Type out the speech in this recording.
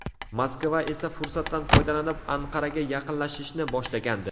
Moskva esa fursatdan foydalanib Anqaraga yaqinlashishni boshlagandi .